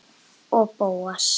Og Bóas.